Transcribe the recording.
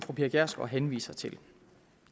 fru pia kjærsgaard henviser til